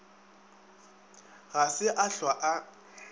ga se a hlwa a